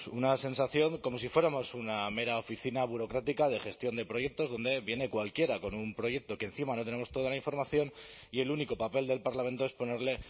una sensación como si fuéramos una mera oficina burocrática de gestión de proyectos donde viene cualquiera con un proyecto que encima no tenemos toda la información y el único papel del parlamento es ponerle